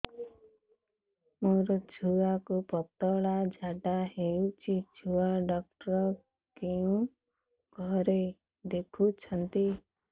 ମୋର ଛୁଆକୁ ପତଳା ଝାଡ଼ା ହେଉଛି ଛୁଆ ଡକ୍ଟର କେଉଁ ଘରେ ଦେଖୁଛନ୍ତି